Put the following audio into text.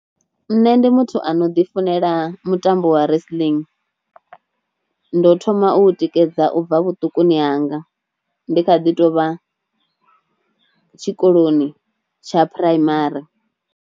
Nṋe ndi muthu ano ḓi funela mutambo wa wrestling, ndo thoma u u tikedza ubva vhuṱukuni hanga ndi kha ḓi tovha tshikoloni tsha phuraimari.